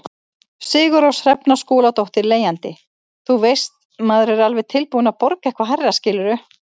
Sigurrós Hrefna Skúladóttir, leigjandi: Þú veist, maður er alveg tilbúin að borga eitthvað hærra skilurðu?